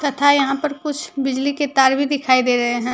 तथा यहां पर कुछ बिजली के तार भी दिखाई दे रहे हैं।